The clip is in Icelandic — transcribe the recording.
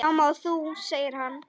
Sama og þú, segir hann.